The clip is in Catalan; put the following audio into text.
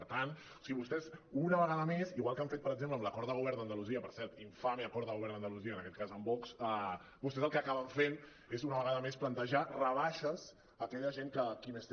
per tant si vostès una vegada més igual que han fet per exemple amb l’acord de govern d’andalusia per cert infame acord de go·vern d’andalusia en aquest cas amb vox vostès el que acaben fent és una vega·da més plantejar rebaixes a aquella gent qui més té